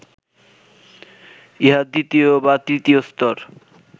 ইহা দ্বিতীয় বা তৃতীয় স্তর